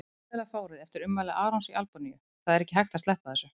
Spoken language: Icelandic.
Fjölmiðlafárið eftir ummæli Arons í Albaníu Það er ekki hægt að sleppa þessu.